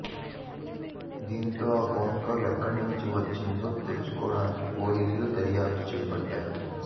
దీంతో ఆ phone call ఎక్కడి నుంచి వచ్చిందో తెలుసుకోడానికి పోలీసులు దర్యాప్తు చేపట్టారు